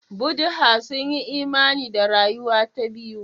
Buddha sun yi imani da rayuwa ta biyu.